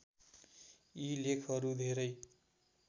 यी लेखहरू धेरै